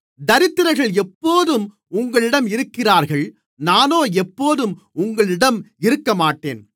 தரித்திரர்கள் எப்போதும் உங்களிடம் இருக்கிறார்கள் நானோ எப்போதும் உங்களிடம் இருக்கமாட்டேன்